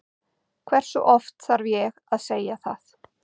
Hversu oft þarf að segja það?